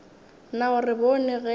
na o re bone ge